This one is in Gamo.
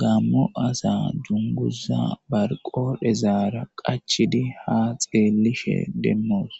gaammo asa dunguza bar qodhezaara qachchidi haa xeellishe demmoos.